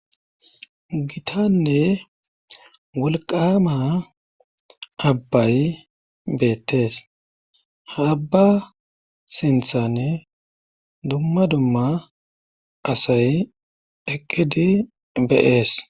gitanne wolqama abbay beettes haabba sinthanne dumma dumma asay eqqidi beees